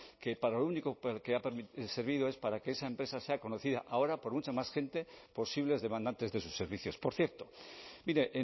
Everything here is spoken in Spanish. que para lo único que ha servido es para que esa empresa sea conocida ahora por mucha más gente posibles demandantes de sus servicios por cierto mire